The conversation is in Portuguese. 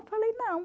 Eu falei, não.